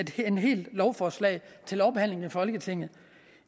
helt lovforslag til lovbehandling i folketinget